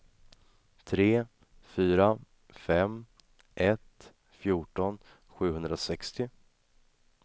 tre fyra fem ett fjorton sjuhundrasextio